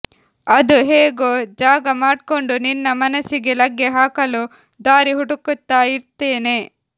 ಅದು ಹೇಗೋ ಜಾಗ ಮಾಡ್ಕೊಂಡು ನಿನ್ನ ಮನಸ್ಸಿಗೆ ಲಗ್ಗೆ ಹಾಕಲು ದಾರಿ ಹುಡುಕ್ತಾ ಇರ್ತೇನೆ